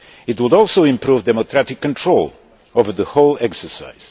It would also improve democratic control over the whole exercise.